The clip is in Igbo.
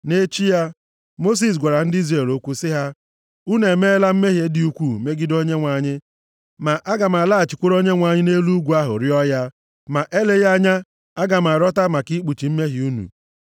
Nʼechi ya, Mosis gwara ndị Izrel okwu sị ha, “Unu emeela mmehie dị ukwuu megide Onyenwe anyị. Ma aga m alaghachikwuru Onyenwe anyị nʼelu ugwu ahụ rịọọ ya. Ma eleghị anya, aga m arịọta maka ikpuchi mmehie unu.”